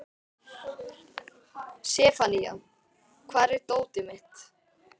Sefanía, hvar er dótið mitt?